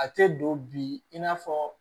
A tɛ don bi in n'a fɔ